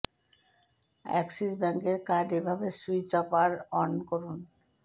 Axis ব্যাঙ্কের card এভাবে switch off আর অন করুন